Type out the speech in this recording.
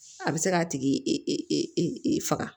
A bɛ se k'a tigi faga